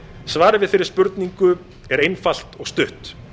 svarið við þeirri spurningu er einfalt og stutt